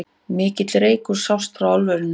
Mikill reykur sást frá álverinu